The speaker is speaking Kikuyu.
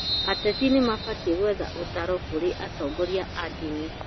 ateti nĩmabatiĩ gwetha ũtaaro kũrĩ atongoria a ndini